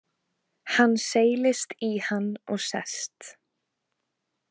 Hann seilist í hann og sest.